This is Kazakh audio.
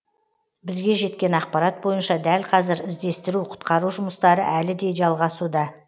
бізге жеткен ақпарат бойынша дәл қазір іздестіру құтқару жұмыстары әлі де жалғасуда